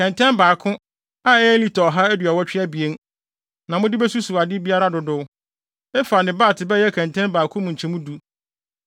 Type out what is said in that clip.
Kɛntɛn baako, a ɛyɛ lita ɔha aduɔwɔtwe abien (182), na mode besusuw ade biara dodow; ɛfah ne bat bɛyɛ kɛntɛn baako mu nkyemu du.